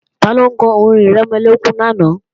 Taló kọ orin-ìrẹmọlẹ́kún lánàá?